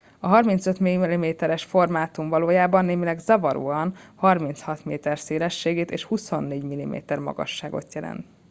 a 35 mm es formátum valójában némileg zavaróan 36 m szélességet és 24 mm magasságot jelent